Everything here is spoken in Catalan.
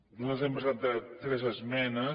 nosaltres hem presentat tres esmenes